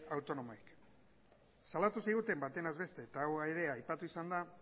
autonomoei salatu ziguten baten ez besten eta hau ere aipatu izan da